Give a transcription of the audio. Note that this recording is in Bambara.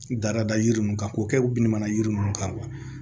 Dada yiri nunnu kan k'o kɛ bin mana yiri ninnu kan wa